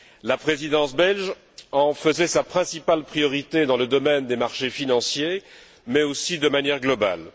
La Présidence belge en faisait sa principale priorité dans le domaine des marchés financiers, mais aussi de manière globale.